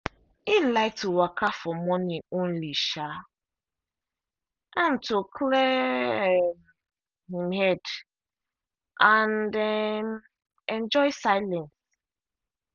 him like to walka for morning only um am to clear um him head and um enjoy silence.